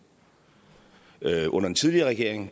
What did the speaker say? under den tidligere regering